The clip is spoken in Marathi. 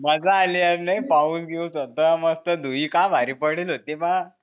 मज्जा आली यार भाई लई पाऊस बिऊस होता मस्त धुई काय भारी पडेल होती बा